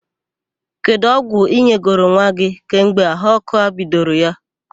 Kedụ ọgwụ ị nyegoro nwa gị kemgbe ahụ ọ́kụ́ a bidoro ya?